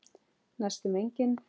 Næstum engin.